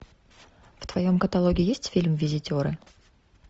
в твоем каталоге есть фильм визитеры